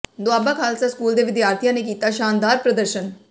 Doaba Khalsa school ਦੇ ਵਿਦਿਆਰਥੀਆਂ ਨੇ ਕੀਤਾ ਸ਼ਾਨਦਾਰ ਪ੍ਰਦਰਸ਼ਨ